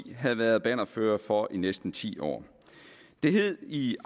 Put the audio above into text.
havde været bannerførere for i næsten ti år det hed i